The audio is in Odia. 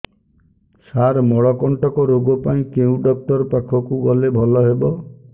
ସାର ମଳକଣ୍ଟକ ରୋଗ ପାଇଁ କେଉଁ ଡକ୍ଟର ପାଖକୁ ଗଲେ ଭଲ ହେବ